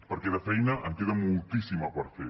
perquè de feina en queda moltíssima per fer